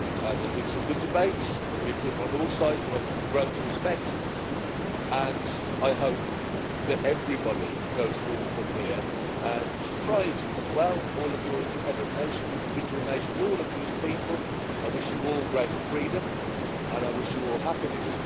There's been some good debates, there's been people on all sides that I've grown to respect, and I hope that everybody goes forward from here and thrives and does well all of your independent nation, individual nations, all of you as people, I wish you all greater freedom and I wish you all happiness.